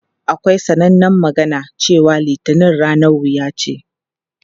Akwai sanannen magana cewa "Litinin ranar wuya ce".